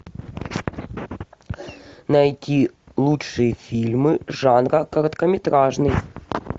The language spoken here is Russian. найти лучшие фильмы жанра короткометражный